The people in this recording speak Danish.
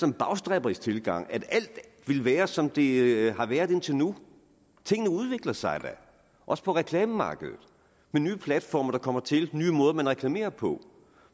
en bagstræberisk tilgang at alt vil være som det har været indtil nu tingene udvikler sig da også på reklamemarkedet med nye platforme der kommer til og nye måder man reklamerer på